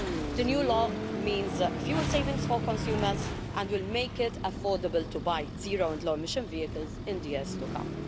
The new law means fuel savings for consumers and will make it affordable to buy zero and low emission vehicles in the years to come.